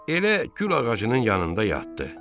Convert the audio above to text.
Elə gül ağacının yanında yatdı.